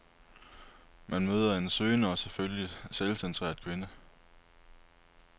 Man møder en søgende og selvfølgelig selvcentreret kvinde.